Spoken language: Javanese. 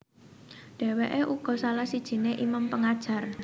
Dèwèké uga salah sijiné imam pengajar